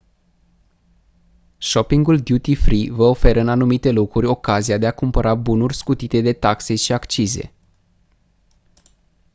shoppingul duty-free vă oferă în anumite locuri ocazia de a cumpăra bunuri scutite de taxe și accize